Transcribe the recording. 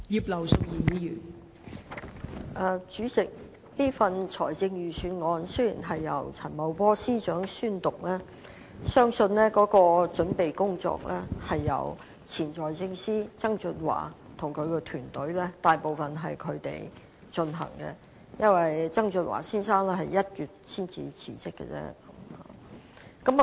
代理主席，雖然這份財政預算案是由陳茂波司長宣讀，但相信大部分的準備工作，也是由前財政司司長曾俊華及其團隊草擬的，因為曾俊華先生是在1月份才辭職。